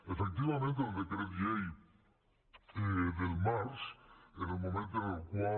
efectivament el decret llei del març en el moment en el qual